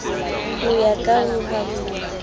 ho ya ka ho hahuwa